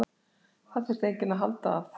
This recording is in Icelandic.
Það þyrfti enginn að halda að